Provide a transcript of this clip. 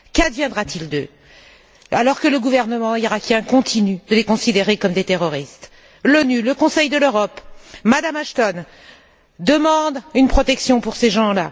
Qu'adviendra t il d'eux, alors que le gouvernement irakien continue de les considérer comme des terroristes? L'ONU, le Conseil de l'Europe, Mme Ashton demandent une protection pour ces gens.